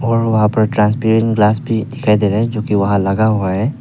और वहां transparent glass भी दिखाई दे रहा है जोकि वहां लगा हुआ है।